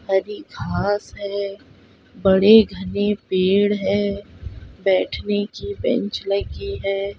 हरी घास है बड़े-घने पेड़ हैं बैठने की बेंच लगी है।